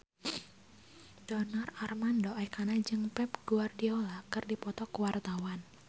Donar Armando Ekana jeung Pep Guardiola keur dipoto ku wartawan